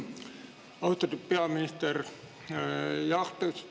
Austatud peaminister!